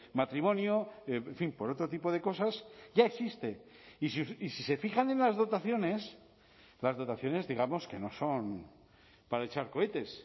matrimonio en fin por otro tipo de cosas ya existe y si se fijan en las dotaciones las dotaciones digamos que no son para echar cohetes